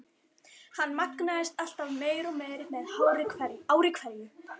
Hann magnaðist alltaf meir og meir með ári hverju.